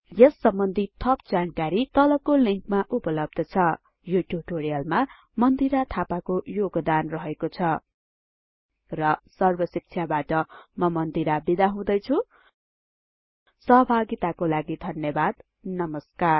यस सम्बन्धि थप जानकारी तलको लिंकमा उपलब्ध छ यो ट्युटोरियलमा मन्दिरा थापाको योगदान रहेको छ र सर्बशिक्षाबाट म मन्दिरा बिदा हुदैछुँ सहभागिताको लागि धन्यबाद नमस्कार